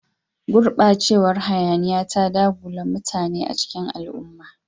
Gurbacewar hayaniya ta dagula mutane a cikin al'umma